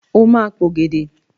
O ma p'ògèdè!